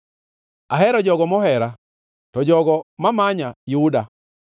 Ahero jogo mohera, to jogo ma manya yuda.